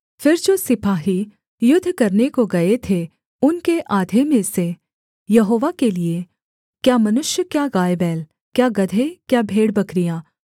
फिर जो सिपाही युद्ध करने को गए थे उनके आधे में से यहोवा के लिये क्या मनुष्य क्या गायबैल क्या गदहे क्या भेड़बकरियाँ